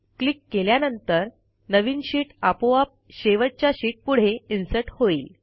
click केल्यानंतर नवीन sheet आपोआप शेवटच्या शीटपुढे इन्सर्ट होईल